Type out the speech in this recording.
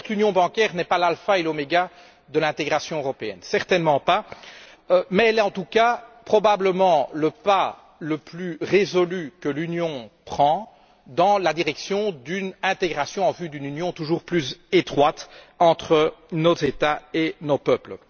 Alors, certes, l'union bancaire n'est pas l'alpha et l'oméga de l'intégration européenne, certainement pas, mais elle est en tout cas probablement le pas le plus résolu que l'Union prenne dans le sens d'une intégration, en vue d'une union toujours plus étroite entre nos États et nos peuples.